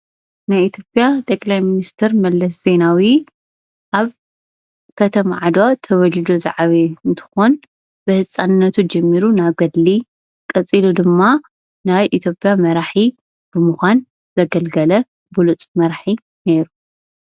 ናይ ኢትዮጵያ ጠቅላይ ሚኒስቴር መለስ ዜናዊ ኣብ ከተማ ዓድዋ ተወሊዱ ዝዓበየ እንትኾን ብህፃንነቱ ጀሚሩ ናብ ገድሊ ቐፂሉ ድማ ናይ ኢትዮጵያ መራሒ ብምዃን ዘገልገለ ብሉፅ መራሒ ነይሩ፡፡